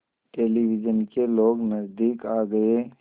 television के लोग नज़दीक आ गए